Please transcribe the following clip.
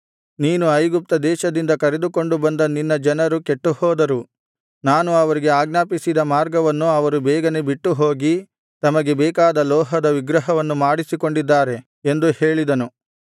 ನೀನು ಐಗುಪ್ತ ದೇಶದಿಂದ ಕರೆದುಕೊಂಡು ಬಂದ ನಿನ್ನ ಜನರು ಕೆಟ್ಟುಹೋದರು ನಾನು ಅವರಿಗೆ ಆಜ್ಞಾಪಿಸಿದ ಮಾರ್ಗವನ್ನು ಅವರು ಬೇಗನೆ ಬಿಟ್ಟುಹೋಗಿ ತಮಗೆ ಬೇಕಾದ ಲೋಹದ ವಿಗ್ರಹವನ್ನು ಮಾಡಿಸಿಕೊಂಡಿದ್ದಾರೆ ಎಂದು ಹೇಳಿದನು